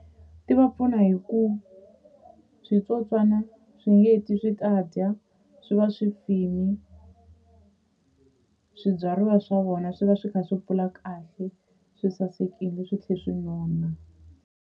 Ti va pfuna hi ku switsotswana swi nge heti swi ta dya swi va swi fini swibyariwa swa vona swi va swi kha swi kula kahle swi sasekile swi tlhe swi nona.